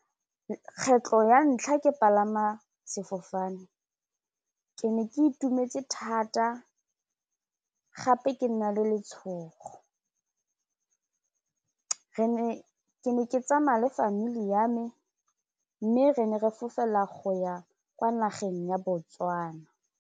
Kgetlho ya ntlha ke palama sefofane ke ne ke itumetse thata gape ke na le letshogo ke ne ke tsamaya le family ya me mme re ne re fofela go ya kwa nageng ya Botswana.